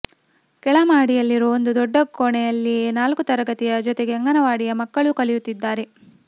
ಕೆಳ ಮಹಡಿಯಲ್ಲಿರುವ ಒಂದು ದೊಡ್ಡ ಕೋಣೆಯಲ್ಲಿಯೇ ನಾಲ್ಕು ತರಗತಿಯ ಜೊತೆಗೆ ಅಂಗನವಾಡಿಯ ಮಕ್ಕಳೂ ಕಲಿಯುತ್ತಿದ್ದಾರೆ